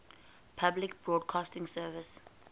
public broadcasting service